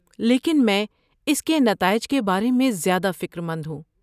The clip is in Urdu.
لیکن میں اس کے نتائج کے بارے میں زیادہ فکر مند ہوں۔